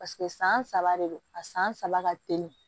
paseke san saba de don a san saba ka teli